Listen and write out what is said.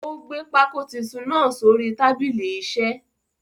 Ó gbé pákó titun náà sórí tábìlì isẹ́.